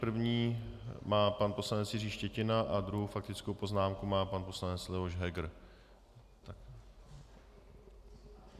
První má pan poslanec Jiří Štětina a druhou faktickou poznámku má pan poslanec Leoš Heger.